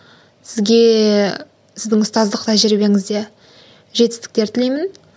сізге сіздің ұстаздық тәжірибеңізде жетістіктер тілеймін